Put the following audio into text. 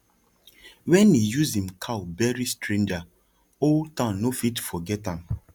when he use him cow bury stranger whole town no fit forget am